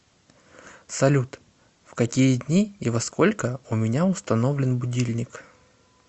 салют в какие дни и во сколько у меня установлен будильник